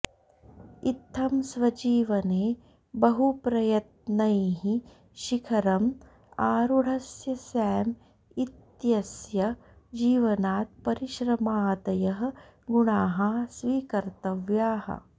इत्थं स्वजीवने बहुप्रयत्नैः शिखरम् आरूढस्य सॅम इत्यस्य जीवनात् परिश्रमादयः गुणाः स्वीकर्तव्याः